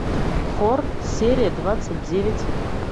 хор серия двадцать девять